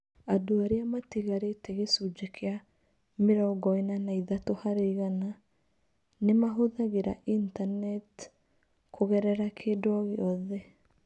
Andũ arĩa matigarĩte gĩcunjĩ kĩa (mĩrongo ĩna na ithatũ harĩ igana) nĩ mahũthagĩra Intaneti kũgerera kĩndũ o gĩothe.